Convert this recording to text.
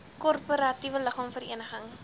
korporatiewe liggaam vereniging